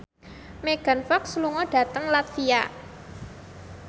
Megan Fox lunga dhateng latvia